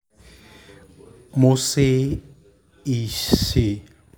mo ṣe iṣe